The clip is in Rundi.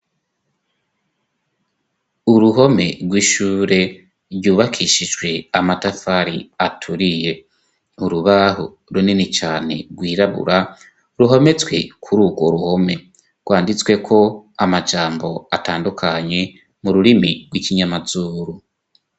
uruhome rw'ishure ryubakishijwe amatafari aturiye urubaho runini cane rwirabura ruhometswe kuri urwo ruhome rwanditsweko amajambo atandukanye mu rurimi rw'ikinyamazuru